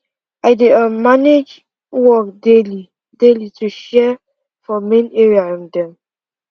i dey um manage work daily daily to share time for main area um dem